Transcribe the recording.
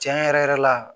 Tiɲɛ yɛrɛ yɛrɛ la